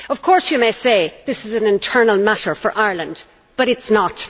Of course, you may say that this is an internal matter for Ireland, but it is not.